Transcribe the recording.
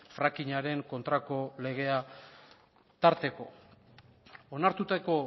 frackingaren kontrako legea tarteko onartutako